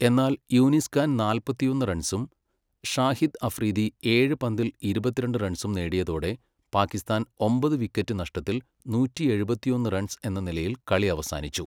എന്നാൽ, യൂനിസ് ഖാൻ നാല്പത്തിയൊന്ന് റൺസും ഷാഹിദ് അഫ്രീദി ഏഴ് പന്തിൽ ഇരുപത്തിരണ്ട് റൺസും നേടിയതോടെ പാകിസ്ഥാൻ ഒമ്പത് വിക്കറ്റ് നഷ്ടത്തിൽ നൂറ്റിയെഴുപത്തിയൊന്ന് റൺസ് എന്ന നിലയിൽ കളി അവസാനിച്ചു.